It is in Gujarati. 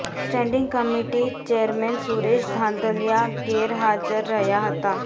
standing committee chairman Suresh Dhandhalya ગેર હાજર રહયા હતા